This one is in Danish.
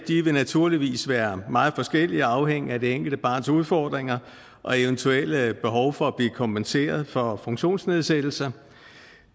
vil naturligvis være meget forskellige afhængigt af det enkelte barns udfordringer og eventuelle behov for at blive kompenseret for funktionsnedsættelser